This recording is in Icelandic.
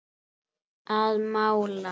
Að mála.